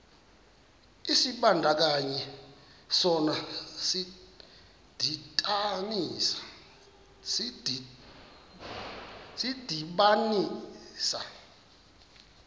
isibandakanyi sona sidibanisa